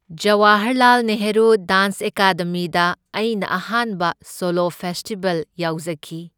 Jawaharlal Nehru dance ꯑꯦꯀꯥꯗꯃꯤꯗ ꯑꯩꯅ ꯑꯍꯥꯟꯕ ꯁꯣꯂꯣ ꯐꯦꯁꯇꯤꯚꯦꯜ ꯌꯥꯎꯖꯈꯤ꯫